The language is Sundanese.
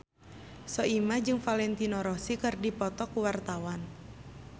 Soimah jeung Valentino Rossi keur dipoto ku wartawan